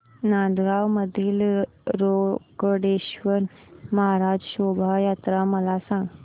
नांदगाव मधील रोकडेश्वर महाराज शोभा यात्रा मला सांग